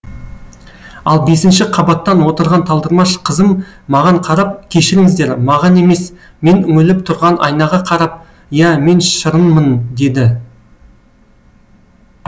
ал бесінші қабаттан отырған талдырмаш қызым маған қарап кешіріңіздер маған емес мен үңіліп тұрған айнаға қарап иә мен шырынмын деді